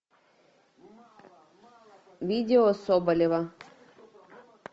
видео соболева